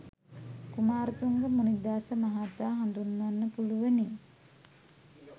කුමාරතුංග මුණිදාස මහතා හඳුන්වන්න පුලුවනි